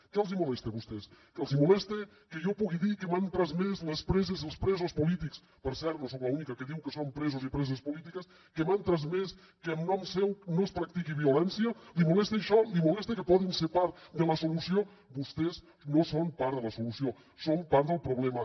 què els molesta a vostès els molesta que jo pugui dir que m’han transmès les preses i els presos polítics per cert no soc l’única que diu que són presos i preses polítiques que en nom seu no es practiqui violència li molesta això li molesta que poden ser part de la solució vostès no són part de la solució són part del problema